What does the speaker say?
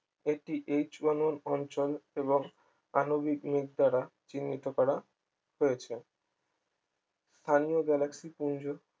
এটি H মানুর অঞ্চল এবং আণবিক নিক দ্বারা চিহ্নিত করা হয়েছে স্থানীয় galaxy পুঞ্জ